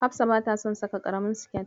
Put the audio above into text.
Hafsa bata son saka ƙaramin siket.